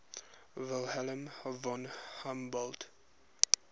wilhelm von humboldt